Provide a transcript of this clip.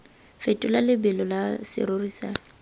fetole lebelo la serori sa